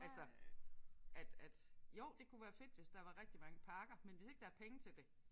Altså at at jo det kunne være fedt hvis der var rigtig mange parker men hvis ikke der er penge til det